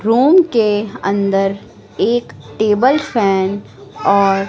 room के अंदर एक टेबल फैन और--